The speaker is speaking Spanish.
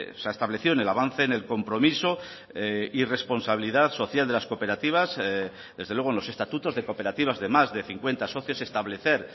se ha establecido en el avance en el compromiso y responsabilidad social de las cooperativas desde luego en los estatutos de cooperativas de más de cincuenta socios establecer